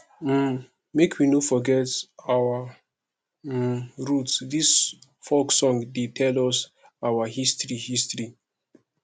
um make we no forget our um root dis folk song dey tell us our history history